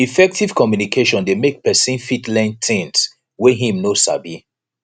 effective communication de make persin fit learn things wey im no sabi